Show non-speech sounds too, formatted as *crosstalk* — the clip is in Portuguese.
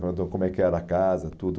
*unintelligible* Como é que era a casa, tudo.